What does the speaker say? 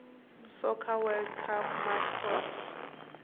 soccer world cup mascots